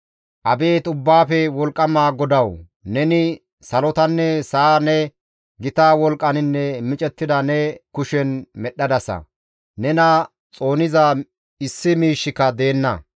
«Abeet Ubbaafe Wolqqama GODAWU! Neni salotanne sa7a ne gita wolqqaninne micettida ne kushen medhdhadasa; nena xooniza issi miishshika deenna.